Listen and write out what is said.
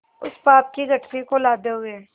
उस पाप की गठरी को लादे हुए